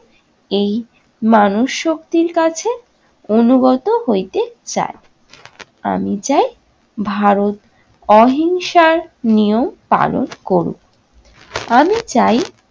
এই মানসশক্তির কাছে অনুগত হইতে চায়। আমি চাই ভারত অহিংসার নিয়ম পালন করুক। আমি চাই